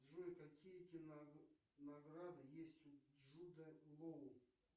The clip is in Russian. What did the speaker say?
джой какие кинонаграды есть у джуда лоу